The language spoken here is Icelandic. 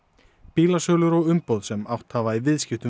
bílasölur og umboð sem átt hafa í viðskiptum